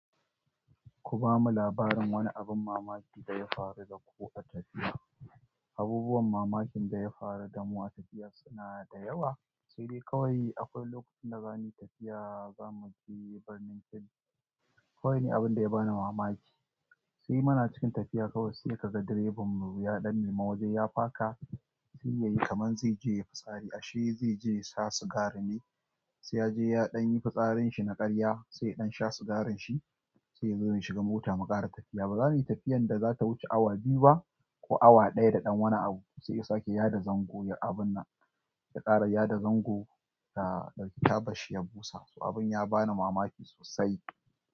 Ku ba mu labarin wani abin mamaki da ya faru da ku a tafiya. Abubuwan mamakin da ya faru da mu a tafiya suna da yawa. Sai dai kawai akwai lokacin da za muyi tafiya, za mu je birnin Kebbi. Kawai ni abin da ya bani mamaki. Sai muna cikin tafiya kawai sai ka ga direban mu ya ɗan nima waje ya faka, sai ya yi kaman zai je ya fi tsari ashe zai je ya sa sigari ne. Sai ya je ya ɗan yi fitsarin shi na ƙarya, sai ya ɗan sha sigarin shi, sai ya zo ya shiga mota mu ƙara tafiya. Ba za muyi tafiyar da za ta wuce awa biyu ba ko awa ɗaya da ɗan wani abu. Sai ya sake ya da zango ya abun nan, ya ƙara ya da zango da ɗauki taban shi ya busa, to abin ya bani mamaki sosai.